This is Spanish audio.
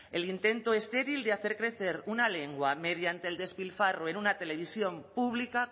el intento estéril de hacer crecer una lengua mediante el despilfarro en una televisión pública